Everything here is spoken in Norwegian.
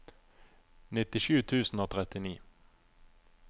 nittisju tusen og trettini